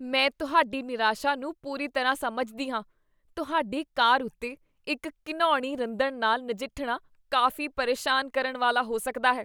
ਮੈਂ ਤੁਹਾਡੀ ਨਿਰਾਸ਼ਾ ਨੂੰ ਪੂਰੀ ਤਰ੍ਹਾਂ ਸਮਝਦੀ ਹਾਂ। ਤੁਹਾਡੀ ਕਾਰ ਉੱਤੇ ਇੱਕ ਘਿਣਾਉਣੀ ਰੰਦਣ ਨਾਲ ਨਜਿੱਠਣਾ ਕਾਫ਼ੀ ਪ੍ਰੇਸ਼ਾਨ ਕਰਨ ਵਾਲਾ ਹੋ ਸਕਦਾ ਹੈ।